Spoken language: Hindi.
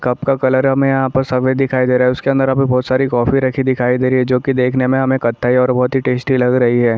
कप का कलर हमें सफेद दिखाई दे रहा है उसके अंदर हमें बहोत सारी कॉफी रखी हुई दिखाई दे रही है जो कि हमें देखने में कत्थई और काफी टेस्टी लग आ रही है।